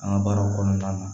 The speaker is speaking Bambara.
An ka baaraw kɔnɔna na